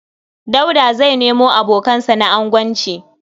Dauda zai nemo abokansa na agonci.